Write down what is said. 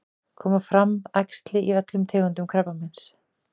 koma fram æxli í öllum tegundum krabbameins